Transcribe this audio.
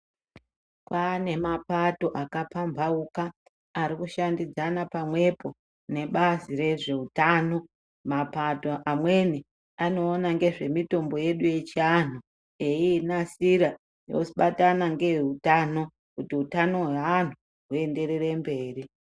Kwane mabata akapambauka arikushandidzana pamwepo nebazi rezveutano mapato amweni anoona nezvemutombo yedu yechianhu eiinasira yobatana ngeyeutano kuti utano weanhu uenderere mberi.